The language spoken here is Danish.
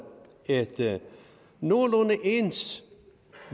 et nogenlunde ens